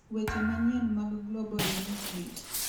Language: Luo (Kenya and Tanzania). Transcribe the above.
Weche Manyien mag Global News Beat